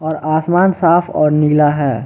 और आसमान साफ और नीला है।